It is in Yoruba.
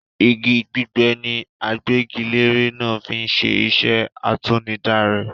Igi gbígbẹ ni agbẹ́gilére náà fí ń ṣe iṣẹ́ àtinudá rẹ̀.